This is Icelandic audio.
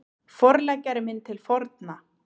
Forleggjari minn til forna